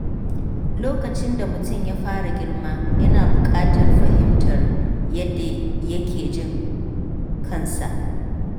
Lokacin da mutum ya fara girma, yana buƙatar fahimtar yadda yake jin kansa.